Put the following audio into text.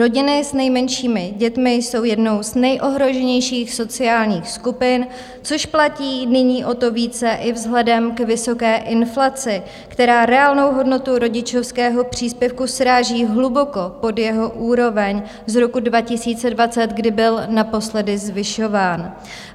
Rodiny s nejmenšími dětmi jsou jednou z nejohroženějších sociálních skupin, což platí nyní o to více i vzhledem k vysoké inflaci, která reálnou hodnotu rodičovského příspěvku sráží hluboko pod jeho úroveň z roku 2020, kdy byl naposledy zvyšován.